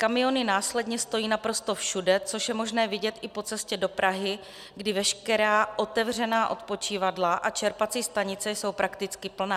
Kamiony následně stojí naprosto všude, což je možné vidět i po cestě do Prahy, kdy veškerá otevřená odpočívadla a čerpací stanice jsou prakticky plné.